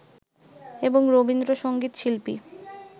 এবং রবীন্দ্র সঙ্গীত শিল্পী